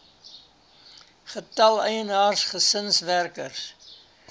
getal eienaars gesinswerkers